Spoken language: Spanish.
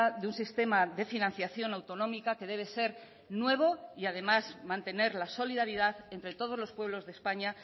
de un sistema de financiación autonómica que debe ser nuevo y además mantener la solidaridad entre todos los pueblos de españa